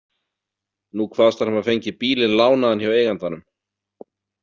Nú kvaðst hann hafa fengið bílinn lánaðan hjá eigandanum.